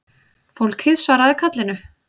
Fólkið svaraði kallinu